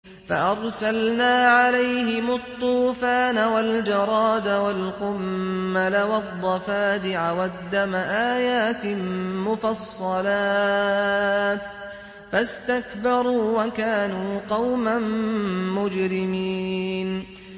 فَأَرْسَلْنَا عَلَيْهِمُ الطُّوفَانَ وَالْجَرَادَ وَالْقُمَّلَ وَالضَّفَادِعَ وَالدَّمَ آيَاتٍ مُّفَصَّلَاتٍ فَاسْتَكْبَرُوا وَكَانُوا قَوْمًا مُّجْرِمِينَ